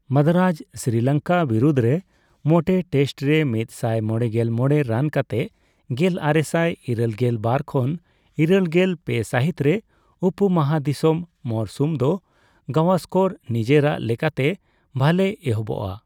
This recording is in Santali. ᱢᱟᱫᱽᱟᱨᱟᱡ ᱥᱤᱨᱤᱞᱚᱝᱠᱟ ᱵᱤᱨᱩᱫᱽ ᱨᱮ ᱢᱚᱴᱮ ᱴᱮᱥᱴ ᱨᱮ ᱢᱤᱛ ᱥᱟᱭ ᱢᱚᱲᱮᱜᱮᱞ ᱢᱚᱲᱮ ᱨᱟᱱ ᱠᱟᱛᱮ ᱜᱮᱞᱟᱨᱮᱥᱟᱭ ᱤᱨᱟᱹᱞᱜᱮᱞ ᱵᱟᱨ ᱠᱷᱚᱱ ᱤᱨᱟᱹᱞᱜᱮᱞ ᱯᱮ ᱥᱟᱦᱤᱛ ᱨᱮ ᱩᱯᱚ ᱢᱚᱦᱟᱫᱤᱥᱤᱢ ᱢᱚᱨᱥᱩᱢ ᱫᱚ ᱜᱟᱣᱥᱠᱚᱨᱮᱨ ᱱᱮᱡᱮᱨᱟᱜ ᱞᱮᱠᱟᱛᱮ ᱵᱷᱟᱞᱮ ᱮᱦᱚᱵᱚᱜ ᱟ ᱾